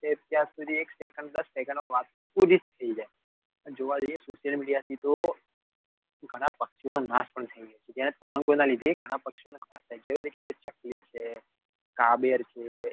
અત્યારે તો એક second કે દસ second માં તો પૂરી જ થઇ જાયેના લીધી તો ઘણાં પક્ષીઓ નો નાશ પણ થઇ ગયો. જેના તરંગો ના લીધે ઘણા નો નાસ થઇ ગયો છે. જેવા કે ચકલી છે કાબર છે.